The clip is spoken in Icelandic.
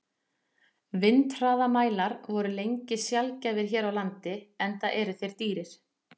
Vindhraðamælar voru lengi sjaldgæfir hér á landi, enda eru þeir dýrir.